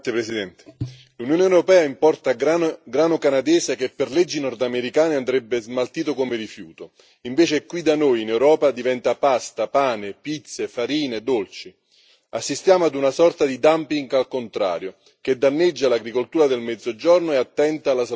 Signora Presidente, onorevoli colleghi, l'Unione europea importa grano canadese che per le leggi nordamericane andrebbe smaltito come rifiuto, invece qui da noi in Europa diventa pasta, pane, pizze, farine e dolci. Assistiamo ad una sorta di dumping al contrario, che danneggia l'agricoltura del Mezzogiorno e attenta alla salute dei consumatori.